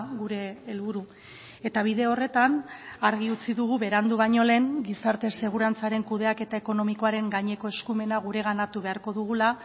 gure helburu eta bide horretan argi utzi dugu berandu baino lehen gizarte segurantzaren kudeaketa ekonomikoaren gaineko eskumena gureganatu beharko dugula